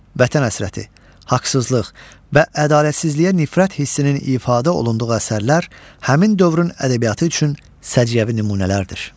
Vətən həsrəti, haqsızlıq və ədalətsizliyə nifrət hissinin ifadə olunduğu əsərlər həmin dövrün ədəbiyyatı üçün səciyyəvi nümunələrdir.